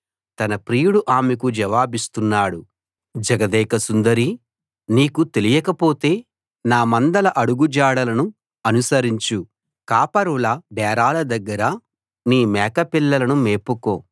తన ప్రియుడు ఆమెకు జవాబిస్తున్నాడు జగదేక సుందరీ నీకు తెలియకపోతే నా మందల అడుగుజాడలను అనుసరించు కాపరుల డేరాల దగ్గర నీ మేకపిల్లలను మేపుకో